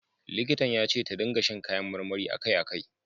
Likitan ya ce ta ringa sha kayan marmari a kai a kai.